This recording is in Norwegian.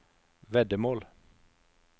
veddemål